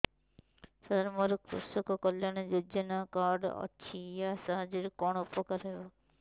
ସାର ମୋର କୃଷକ କଲ୍ୟାଣ ଯୋଜନା କାର୍ଡ ଅଛି ୟା ସାହାଯ୍ୟ ରେ କଣ ଉପକାର ହେବ